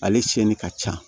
Ale siyɛnni ka ca